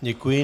Děkuji.